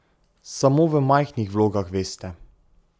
Samo v majhnih vlogah, veste.